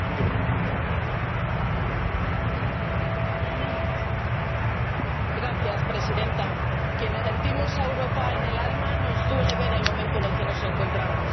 Señora Presidenta, a quienes sentimos a Europa en el alma nos duele ver el momento en el que nos encontramos.